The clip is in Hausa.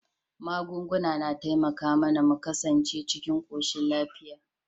Magunguna na taimaka mAna mu ƙasance cikin koshin lafiya